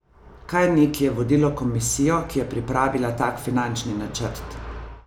Kaj neki je vodilo komisijo, ki je pripravila tak finančni načrt?